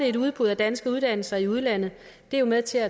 et udbud af danske uddannelser i udlandet jo med til at